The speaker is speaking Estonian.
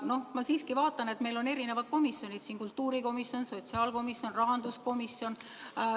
Noh, ma vaatan, et meil on eri komisjonid siin: kultuurikomisjon, sotsiaalkomisjon, rahanduskomisjon.